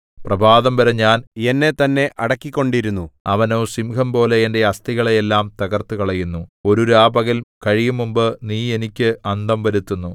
പ്രഭാതംവരെ ഞാൻ എന്നെത്തന്നെ അടക്കിക്കൊണ്ടിരുന്നു അവനോ സിംഹംപോലെ എന്റെ അസ്ഥികളെ എല്ലാം തകർത്തുകളയുന്നു ഒരു രാപകൽ കഴിയുംമുമ്പ് നീ എനിക്ക് അന്തം വരുത്തുന്നു